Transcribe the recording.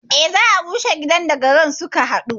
Eh, za a rushe gidan da garar suka haɗa